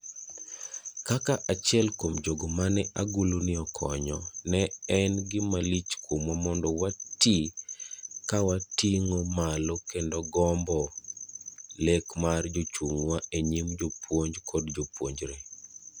Kaka achiel kuom jogo mane aguluni okonyo, ne en gimalich kuomwa mondo watii kawating'o malo gombo lek mar jachung'nwa enyim jopuonj kod jopuonjre.